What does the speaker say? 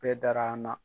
Bɛɛ dara an na